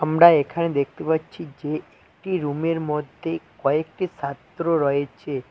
আমরা এখানে দেখতে পাচ্ছি যে একটি রুমের মধ্যে কয়েকটি ছাত্র রয়েছে।